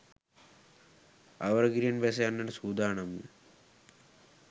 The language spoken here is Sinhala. අවර ගිරෙන් බැස යන්නට සූදානම්ය.